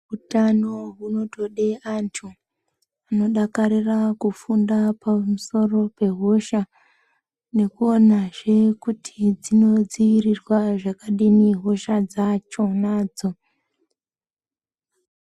Utano hunotode antu vanodakarira kufunda pamusoro pehosha. Nekuonazve kuti dzinodzirirwa zvakadini hosha dzachonadzo.